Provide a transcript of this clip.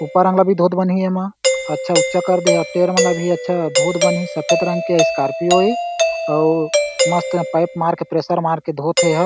ऊपर अंग ल भी अच्छा धोत बनही एमा अच्छा ऊंचा कर दे हे टेर मन ला भी अच्छा धोत बनही सफ़ेद रंग के स्कार्पियो हे अउ मस्त एहा पाइप मार के प्रेशर मार के धोत हे एहा--